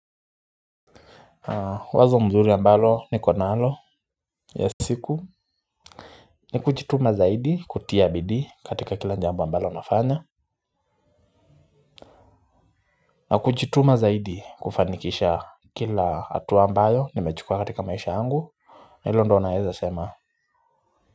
Wazo mzuri ambalo nikonalo ya siku ni kujituma zaidi kutia bidii katika kila jambo ambalo unafanya na kujituma zaidi kufanikisha kila atu ambayo nimechukua katika maisha yangu hilo ndo naeza sema.